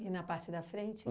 E na parte da frente?